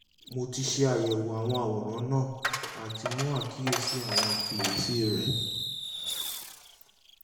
mo ti ṣayẹwo awọn aworan naa ati mu akiyesi awọn ifiyesi rẹ